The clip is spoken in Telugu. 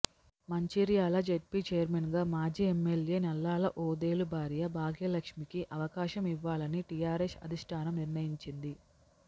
మంచిర్యాల జెడ్పీ చైర్మన్గా మాజీ ఎమ్మెల్యే నల్లా ల ఓదెలు భార్య భాగ్యలక్ష్మికి అవకాశం ఇవ్వాలని టీఆర్ఎస్ అధిష్టానం నిర్ణయించింది